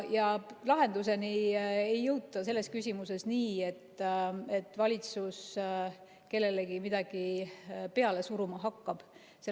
Lahendusele ei jõuta selles küsimuses nii, et valitsus kellelegi midagi peale suruma hakkab.